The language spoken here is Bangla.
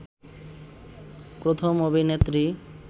প্রথম অভিনেত্রী